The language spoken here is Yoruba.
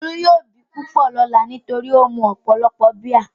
Olú yóò bì púpọ̀ lọ́lá nítorí ó mu ọ̀pọ̀lọpọ̀ bíà.